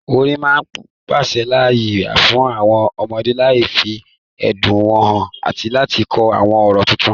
Orin máa pèsè ààyè fún àwọn ọmọdé láti fi ẹ̀dùn wọn hàn àti láti kọ́ àwọn ọ̀rọ̀ tuntun.